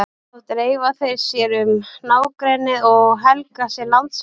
Þá dreifa þeir sér um nágrennið og helga sér landsvæði.